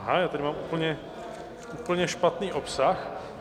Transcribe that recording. Aha, já tady mám úplně špatný obsah.